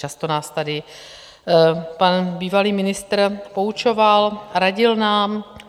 Často nás tady pan bývalý ministr poučoval, radil nám.